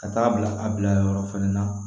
Ka taa bila a bilayɔrɔ fɛnɛ na